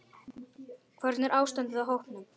Hvernig er ástandið á hópnum?